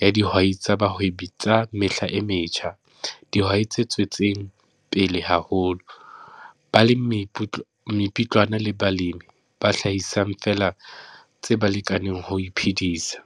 ya dihwai tsa bahwebi tsa mehla e metjha, dihwai tse tswetseng pele haholo, balemipotlana le balemi ba hlahisang feela tse ba lekaneng ho iphedisa.